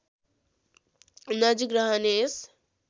नजिक रहने यस